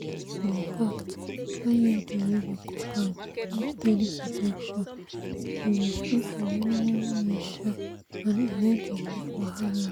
infact iud wey be copper dey give steady protection e dey stay for many-many years um and e no dey give wahala.